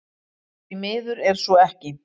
Því miður er svo ekki